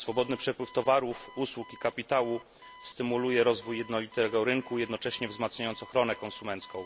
Swobodny przepływ towarów, usług i kapitału stymuluje rozwój jednolitego rynku, jednocześnie wzmacniając ochronę konsumencką.